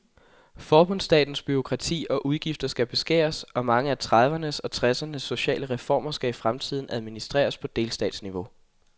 Forbundsstatens bureaukrati og udgifter skal beskæres, og mange af tredivernes og tressernes sociale reformer skal i fremtiden administreres på delstatsniveau.